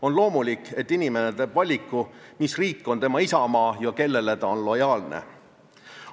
On loomulik, et inimene teeb valiku, mis riik on tema isamaa ja kellele ta on lojaalne.